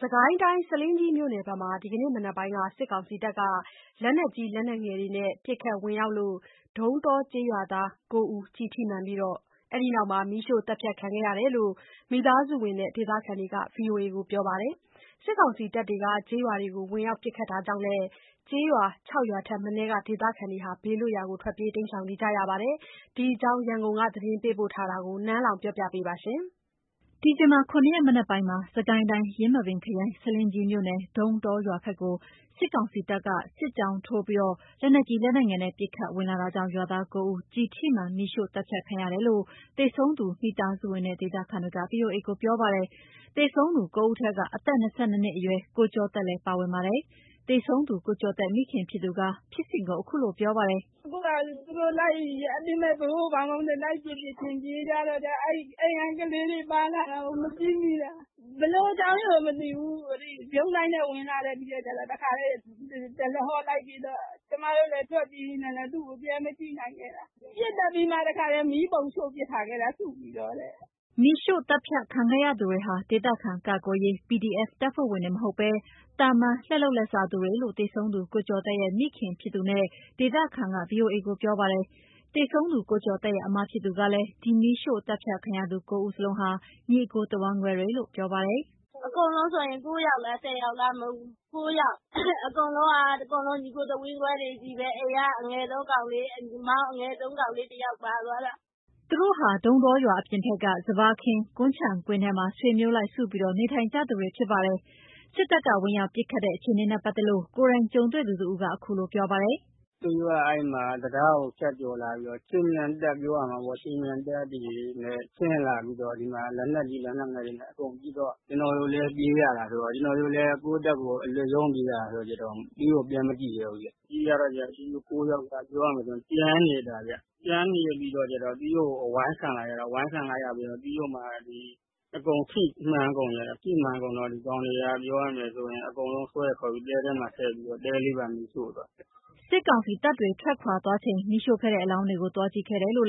စစ်ကိုင်းတိုင်း ဆားလင်းကြီးမြို့နယ်ဘက်မှာ ဒီနေ့မနက်ပိုင်းက စစ်ကောင်စီက လက်နက်ကြီး လက်နက်ငယ်နဲ့ ပစ်ခတ်ဝင်ရောက်လို့ ဒုန်းတောကျေးရွာသား ၉ ဦး ကျည်ထိမှန်ပြီး အဲဒီနောက် မီးရှို့သတ်ဖြတ်ခံခဲ့ရတယ်လို့ မိသားစုဝင်နဲ့ ဒေသခံက ဗွီအိုအေကို ပြောပါတယ်။ စစ်ကောင်စီတပ်တွေ ကျေးရွာတွေကို ဝင်ရောက်ပစ်ခတ်တာကြောင့်လည်း ကျေးရွာ ၆ ရွာထက်မနည်းက ဒေသခံတွေ ဘေးလွတ်ရာကို ထွက်ပြေးနေကြရပါတယ်။ ဒီအကြောင်း ရန်ကုန်က သတင်းပေးပို့ထားတာကို နန်းလောဝ် ပြောပြပါမယ်။ ဒီဇင်ဘာ ၇ ရက် မနက်ပိုင်းမှာ စစ်ကိုင်းတိုင်း ယင်းမာပင်ခရိုင် ဆားလင်းကြီးမြို့နယ် ဒုန်းတောရွာဘက်ကို စစ်ကောင်စီတပ်က စစ်ကြောင်းထိုးပြီး လက်နက်ကြီး လက်နက်ငယ်နဲ့ ပစ်ခတ်ဝင်လာတာကြောင့် ရွာသား ၉ ဦး ကျည်ထိမှန် မီးရှို့သတ်ဖြတ်ခံရတယ်လို့ သေဆုံးသူ မိသားစုဝင်နဲ့ ဒေသခံတွေက ဗွီအိုအေကို ပြောပါတယ်။ သေဆုံးသူ ၉ ဦးထဲ အသက် ၂၂ နှစ်အရွယ် ကိုကျော်သက်လည်း ပါဝင်ပါတယ်။ သေဆုံးသူ ကိုကျော်သက် မိခင်ဖြစ်သူက ဖြစ်စဉ်ကို အခုလို ပြောပါတယ်။ “အခုဟာက သူတို့လိုက်ပြီး အတင်း လိုက်ပစ်ပစ်ချင်း ပြေးကြတော့ အိမ်က ကလေးတွေ ပါလာတာကို မကြည့်မိတာ။ ဘယ်လိုအကြောင်းကို မသိဘူး၊ ဗြုန်းဒိုင်းနဲ့ဝင်လာတာ၊ ပြီးတော့ကျတော့ တခါတည်း တရဟောလိုက်ပစ်တော့ ကျမတို့လည်း ထွက်ပြေးနေတာနဲ့ သူ့ကို ပြန်မကြည့်နိုင်ခဲ့တာ၊ ပစ်သတ်ပြီးမှ တခါတည်း မီးပုံရှုှို့ပစ်ထားခဲ့တာ စုပြီးတော့တဲ့။” မီးရှို့သတ်ဖြတ်ခံခဲ့ရသူများဟာ ဒေသခံကာကွယ်ရေး PDF တပ်ဖွဲ့ဝင်တွေ မဟုတ်ဘဲ သာမန် လက်လုပ်လက်စားသူတွေလို့ သေဆုံးသူ ကိုကျော်သက်ရဲ့ မိခင်ဖြစ်သူနဲ့ ဒေသခံက ဗွီအိုအေကို ပြောပါတယ်။ သေဆုံးသူ ကိုကျော်သက်ရဲ့ အစ်မဖြစ်သူကလည်း ဒီမီးရှို့သတ်ဖြတ်ခံရသူ ၉ ဦးစလုံးဟာ ညီအစ်ကို တဝမ်းကွဲတွေလို့ ပြောပါတယ်။ “အကုန်လုံး ၉ ယောက်လား၊ ၁၀ ယောက်လား၊ ၉ ယောက်။ အကုန်လုံးက ညီအစ်ကို တဝမ်းကွဲတွေကြီးပဲ၊ အိမ်က အငယ်ဆုံးကောင်လေး၊ မောင်အငယ်ဆုံး ကောင်လေးတယောက် ပါသွားတယ်။” သူတို့ဟာ ဒုန်းတောရွာအပြင်ဘက်က စပါးခင်း ကွမ်းခြံခင်းထဲမှာ ဆွေမျိုးလိုက် စုပြီး နေထိုင်ကြသူတွေ ဖြစ်ပါတယ်။ စစ်တပ်က ဝင်ရောက်ပစ်ခတ်တဲ့ အခြေအနေနဲ့ ပတ်သက်လို့ ကိုယ်တိုင်ကြုံတွေ့သူတဦးကလည်း အခုလို ပြောပါတယ်။ “သူတို့ အဲ့ဒီမှာ တံတားကို ဖြတ်ကျော်လာပြီးတော့ ခြေမြန်တပ်ပြောရမှာပေ့ါ၊ ခြေမြန်တပ်တွေနဲ့ ဆင်းလာပြီးတော့ ဒီမှာ လက်နက်ကြီး လက်နက်ငယ်တွေနဲ့ အကုန်ပစ်တော့ ကျနော်တို့လည်း ပြေးရတယ်ဆိုတော့၊ ကျနော်တို့လည်း ကိုယ့်အသက်ကို အလွတ်ရုန်းပြေးရတာ ခါကျတော့ သူတို့ကို ပြန်မကြည့်ရဲဘူးဗျ၊ ပြေးကြတော့ ဒီ ၉ ယောက်က ပြောရမယ်ဆိုရင် ကျန်နေတာ၊ ကျန်နေပြီးတော့ကျတော့ သူတို့ အဝိုင်းခံလိုက်ရတာ၊ အဝိုင်းခံလိုက်ရပြီးတော့မှ အကုန်ထိမှန်ကုန်ကြတာ၊ ထိမှန်ကုန်တော့ ဒီကောင်တွေက ပြောရမယ်ဆိုရင် အကုန်လုံးဆွဲခေါ်ပြီး တဲထဲမှာ ထည့်ပြီးတော့ တဲလေးပါ မီးရှို့သွားခဲ့တယ်။” စစ်ကောင်စီတပ်တွေ ထွက်ခွာသွားချိန် မီးရှို့ခဲ့တဲ့ အလောင်းတွေကို သွားကြည့်ခဲ့တယ်လို့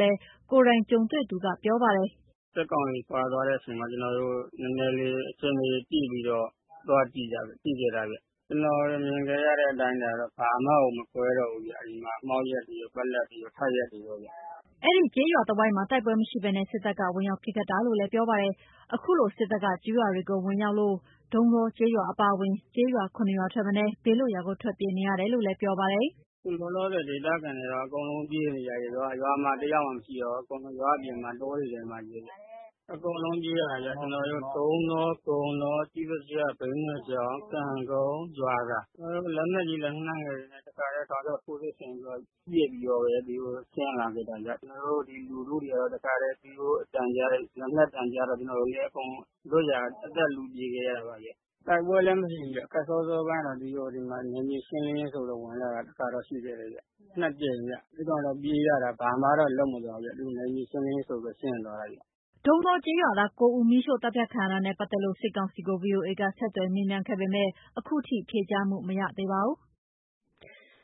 ကိုယ်တိုင်ကြုံတွေ့သူက ပြောပါတယ်။ “စစ်ကောင်စီခွာသွားတဲ့အချိန်မှာ ကျနော်တို့ နည်းနည်းလေး အခြေအနေကြည့်တော့ သွားကြခဲ့တာဗျ။ ကိုယ်မြင်ခဲ့ရတဲ့ အတိုင်းအတာတော့ (ရုပ်အလောင်းတွေ) ဘာမှကို မကွဲတော့ဘူးဗျ။ အဲ့ဒီမှာ မှောက်လျက်တွေရော ပက်လက်တွေရော ထပ်လျက်တွေရောဗျ။” အဲ့ဒီကျေးရွာတဝိုက်မှာ တိုက်ပွဲမရှိဘဲ စစ်တပ်က ဝင်ရောက်ပစ်ခတ်တာလို့ ပြောပါတယ်။ အခုလို စစ်တပ်က ကျေးရွာတွေကို ဝင်ရောက်လို့ ဒုန်းတောကျေးရွာ အပါအဝင် ကျေးရွာ ၇ ရွာထက်နည်း ဘေးလွတ်ရာကို ထွက်ပြေးနေကြရတယ်လို့ ပြောပါတယ်။ “အခုလောလောဆယ် ဒေသခံတွေက အကုန်လုံး ပြေးနေကြရတယ်။ ရွာမှာ တယောက်မှ မရှိတော့ဘူး၊ အကုန်လုံး ရွာအပြင်မှာ တောတွေထဲမှာပဲဗျ၊ အကုန်လုံးပြေးရတာဗျ။ ကျနော်တို့ ဒုန်းတော၊ ကုန်းတော၊ ကျေးစာကျ၊ ဘိန်းနွယ်ချောင်း၊ ကံကုန်း၊ ရွာသာ၊ ကျနော်တို့ လက်နက်ကြီး လက်နက်ငယ်တွေနဲ့ တခါတည်း တောက်လျှောက် ထိုးစစ်ဆင်ပြီး ပစ်ပြီးတော့ ဒီကိုဆင်းလာခဲ့တာဗျ။ ကျနော်တို့ ဒီလူထုတွေကတော့ တခါတည်း သူတို့အသံကြားတယ် လက်နက်သံကြားတော့ ကျနော်တို့လည်း အကုန် လွတ်ရာကို အသက်လု ပြေးခဲ့ရတာပါဗျ။ တိုက်ပွဲလည်းမရှိဘူးဗျ။ ခတ်စောစောအပိုင်းကတော့ ဒီမှာ နယ်မြေရှင်းလင်းရေးဆိုပြီး ဝင်လာတာ တခါတော့ ရှိခဲ့တယ်ဗျ။ နှစ်ကြိမ်ဗျ အဲ့တုန်းက ပြေးရတာ ဘာမှတော့ လုပ်မသွားဘူးဗျ။ သူ့နယ်မြေရှင်းလင်းရေးဆိုပြီး ရှင်းသွားတာဗျ။” ဒုန်းတောကျေးရွာသား ၉ ဦး မီးရှို့သတ်ဖြတ်ခံရတာနဲ့ ပတ်သက်လို့ စစ်ကောင်စီကို ဗွီအိုအေက ဆက်သွယ်မေးမြန်းခဲ့ပေမယ့် အခုထိ ဖြေကြားမှု မရခဲ့ပါဘူး။